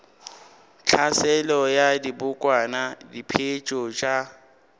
tlhaselo ya dibokwana diphetetšo tša